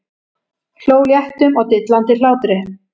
Hló léttum og dillandi hlátri.